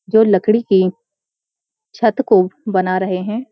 जो लकड़ी के छत को बना रहे हैं।